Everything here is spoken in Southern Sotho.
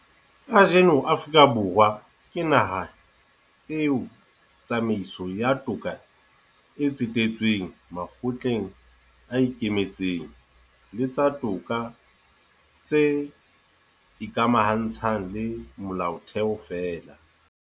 Kajeno Afrika Borwa ke naha eo tsamaiso ya toka e tsetetsweng makgotleng a ikemetseng le tsa toka tse ikamahantshang le Molaotheo feela.